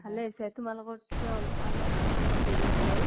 ভালে হৈছে, তোমালোকত্কে অলপ আলপ্মান আমাৰ দূৰত হল।